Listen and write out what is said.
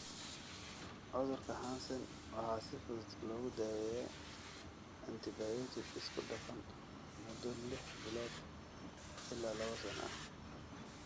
Cudurka Hansen waxaa si fudud loogu daweeyaa antibiyootik isku dhafan muddo liix bilood ilaa laba sano ah.